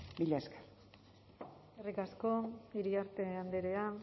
mila esker eskerrik asko iriarte andrea